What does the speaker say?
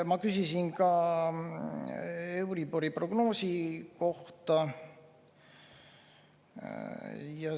Ma küsisin ka euribori prognoosi kohta.